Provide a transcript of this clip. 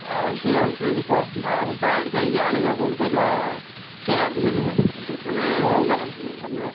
ଆଉ ସେଇଆ କୁ କିଣିବ ଆଉ direct ଯାଇ ଆଣିବ କୋଉଠୁ କହିଲ care ରୁ ବୁଝିପାରିଲ୍ ନା care ରୁ ଆଣିଥିଲି ।